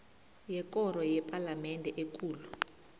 yekoro yepalamende ekulu